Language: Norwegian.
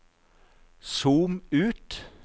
zoom ut